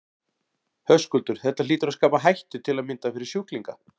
Höskuldur: Þetta hlýtur að skapa hættu til að mynda fyrir sjúklinga?